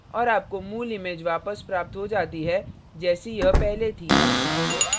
और आपको मूल image वापस प्राप्त हो जाती है जैसी यह पहले थी